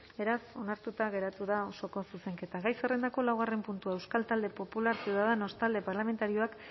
beraz onartuta geratu da osoko zuzenketa gai zerrendako laugarren puntua euskal talde popularra ciudadanos talde parlamentarioak